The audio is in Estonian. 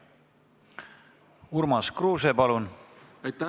Urmas Kruuse, palun!